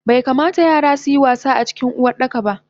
Baikamata yara suyi wasa acikin Uwardakaba